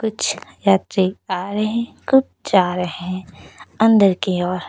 कुछ यात्री आ रहे हैं कुछ जा रहे हैं अंदर की ओर--